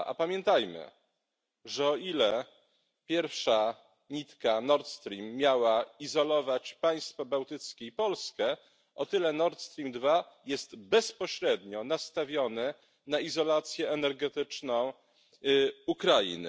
2. A pamiętajmy, że o ile pierwsza nitka Nord Stream miała izolować państwa bałtyckie i Polskę, o tyle Nord Stream 2 jest bezpośrednio nastawiony na izolację energetyczną Ukrainy.